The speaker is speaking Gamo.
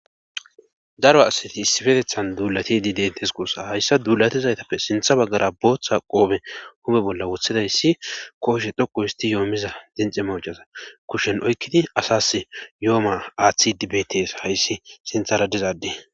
daro asati issifetethan duulatidi dentes koossa hayssa duulatizaytappe sintha baggara booththa qoobe hume bolla wothidayssi kooshe dhoqu histi yoomiza dincima ujcaza kushen oykkidi asas yo7oma aaththi dibetes hayssi sinthara dizaadde